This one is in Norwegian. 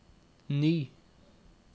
ny